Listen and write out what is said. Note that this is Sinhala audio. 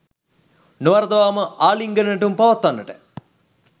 නොවරදවාම ආලිංගන නැටුම් පවත්වන්නට